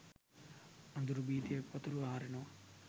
අඳුරු භීතිය පතුරුවා හරිනවා.